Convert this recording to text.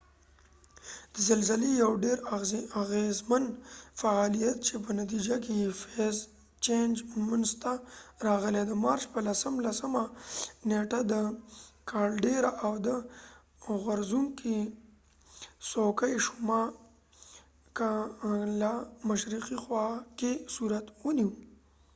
د زلزلی یو ډیراغیزمن فعالیت چې په نتیجه کې یې فیز چېنج منځ ته راغی د مارچ په 10 لسمه نیټه د کالډیرا caldira د اور غورڅونکې څوکې شما ل مشرقی خوا کې صورت ونیو